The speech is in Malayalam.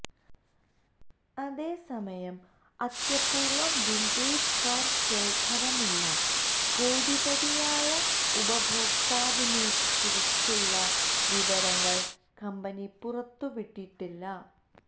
അതേസമയം അത്യപൂര്വ്വ വിന്റേജ് കാര് ശേഖരമുള്ള കോടിപതിയായ ഉപഭോക്താവിനെക്കുറിച്ചുള്ള വിവരങ്ങള് കമ്പനി പുറത്തു വിട്ടിട്ടില്ല